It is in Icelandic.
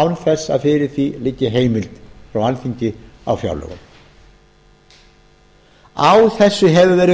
án þess að fyrir því liggi heimild frá alþingi á fjárlögum á þessu hefur verið